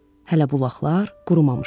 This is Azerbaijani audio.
Hələ bulaqlar qurumamışdı.